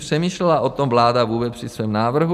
Přemýšlela o tom vláda vůbec při svém návrhu?